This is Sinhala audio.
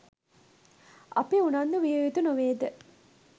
අපි උනන්දු විය යුතු නොවේ ද?